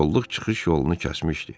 Kolluq çıxış yolunu kəsmişdi.